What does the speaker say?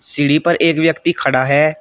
सीढी पर एक व्यक्ति खड़ा है।